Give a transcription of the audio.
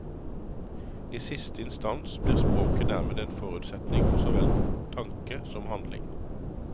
I siste instans blir språket dermed en viktig forutsetning for såvel tanke som handling.